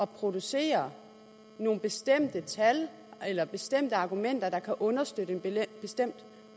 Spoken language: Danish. producere nogle bestemte tal eller bestemte argumenter der kan understøtte en bestemt